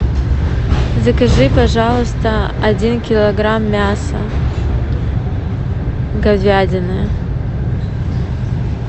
закажи пожалуйста один килограмм мяса говядины